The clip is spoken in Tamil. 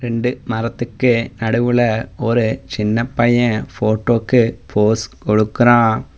ரண்டு மரத்துக்கு நடுவுல ஒரு சின்னப்பைய போட்டோக்கு போஸ் கொடுக்கறா.